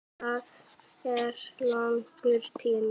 Það er langur tími.